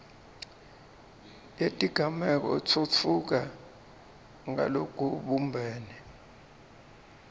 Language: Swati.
yetigameko itfutfuka ngalokubumbene